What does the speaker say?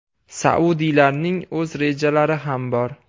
Saudiylarning o‘z rejalari ham bor.